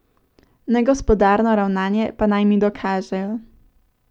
Negospodarno ravnanje pa naj mi dokažejo.